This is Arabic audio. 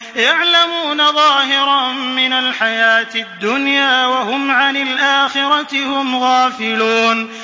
يَعْلَمُونَ ظَاهِرًا مِّنَ الْحَيَاةِ الدُّنْيَا وَهُمْ عَنِ الْآخِرَةِ هُمْ غَافِلُونَ